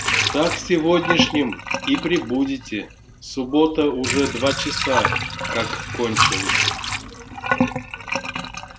так сегодняшним и прибудете суббота уже два часа как кончилась